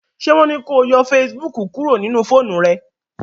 ṣe wón ní kò yọ Facebook kúrò nínú fóònù rẹ?